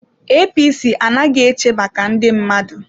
APC anaghị eche maka ndị mmadụ.